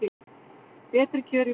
Betri kjör í boði